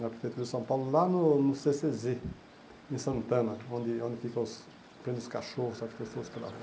Na Prefeitura de São Paulo, lá no no cê cê zê, em Santana, onde onde ficam os prende os cachorros, pela rua.